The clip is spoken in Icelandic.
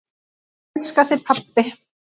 Elska þig, pabbi.